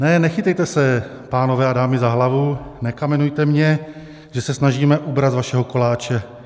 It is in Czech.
Ne, nechytejte se, pánové a dámy, za hlavu, nekamenujte mě, že se snažíme ubrat z vašeho koláče.